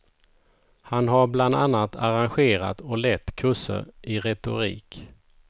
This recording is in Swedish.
Han har bland annat arrangerat och lett kurser i retorik.